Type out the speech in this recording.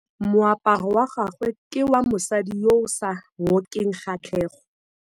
Moaparô wa gagwe ke wa mosadi yo o sa ngôkeng kgatlhegô.